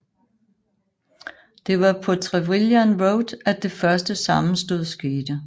Det var på Trevilian Road at det første sammenstød skete